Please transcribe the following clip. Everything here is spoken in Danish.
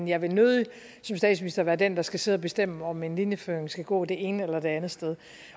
jeg vil nødig som statsminister være den der skal sidde og bestemme om en linjeføring skal gå det ene eller det andet sted